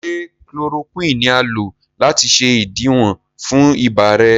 ṣe Chloroquine ní a lò láti ṣe idiwọ fún ibà rẹ?